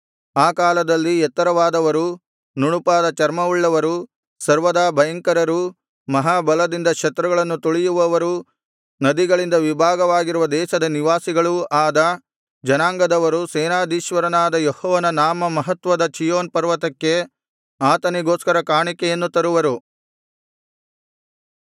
ಆ ಕಾಲದಲ್ಲಿ ಎತ್ತರವಾದವರೂ ನುಣುಪಾದ ಚರ್ಮವುಳ್ಳವರೂ ಸರ್ವದಾ ಭಯಂಕರರೂ ಮಹಾ ಬಲದಿಂದ ಶತ್ರುಗಳನ್ನು ತುಳಿಯುವವರೂ ನದಿಗಳಿಂದ ವಿಭಾಗವಾಗಿರುವ ದೇಶದ ನಿವಾಸಿಗಳೂ ಆದ ಜನಾಂಗದವರು ಸೇನಾಧೀಶ್ವರನಾದ ಯೆಹೋವನ ನಾಮ ಮಹತ್ವದ ಚೀಯೋನ್ ಪರ್ವತಕ್ಕೆ ಆತನಿಗೋಸ್ಕರ ಕಾಣಿಕೆಯನ್ನು ತರುವರು